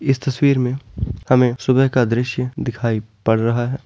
इस तस्वीर मे हमे सुबह का दृश्य दिखाई पड़ रहा हैं।